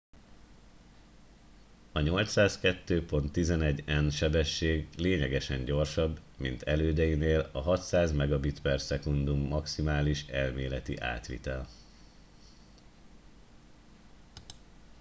a 802.11n sebesség lényegesen gyorsabb mint elődeinél a 600mbit/s maximális elméleti átvitel